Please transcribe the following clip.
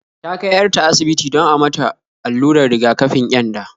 Ta kai 'yar ta asibiti don a mata allurar riga-kafin ƙyanda